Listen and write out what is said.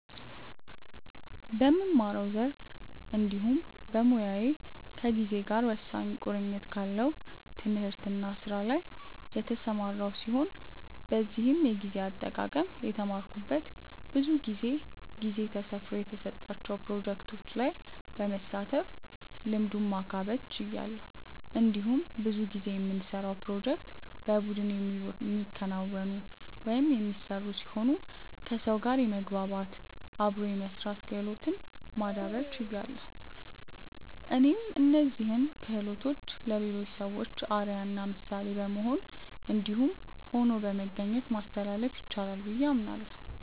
በምማረው ዘርፍ እንዲሁም በሞያዬ ከጊዜ ጋር ወሳኝ ቁርኝት ካለው ትምህርት እና ስራ ላይ የተሰማራው ሲሆን በዚህም የጊዜ አጠቃቀም የተማረኩት ብዙ ጊዜ ጊዜ ተሰፍሮ የተሰጣቸው ፕሮጀክቶች ላይ በመሳተፍ ልምዱን ማካበት ችያለሁ። እንዲሁም ብዙ ጊዜ የምንሰራውን ፕሮጀክቶች በቡድን የሚከናወኑ/የሚሰሩ ሲሆኑ ከሰው ጋር የመግባባት/አብሮ የመስራት ክህሎትን ማዳብር ችያለሁ። እኔም እነዚህን ክሆሎቶችን ለሌሎች ሰዎች አርአያ እና ምሳሌ በመሆን እንዲሁም ሆኖ በመገኘት ማስተላለፍ ይቻላል ብዬ አምናለሁ።